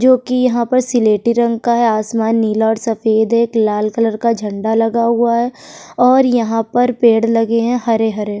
जो कि यहाँ पर सिलेटी रंग का है आसमान नीला और सफेद है एक लाल कलर का झंडा लगा हुआ है और यहाँ पर पेड़ लगे हैं हरे हरे --